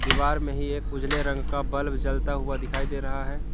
दीवार में ही एक उजले रंग का बल्ब जलता हुआ दिखाई दे रहा है।